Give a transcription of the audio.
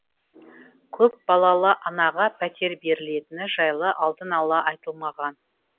көпбалалы анаға пәтер берілетіні жайлы алдын ала айтылмаған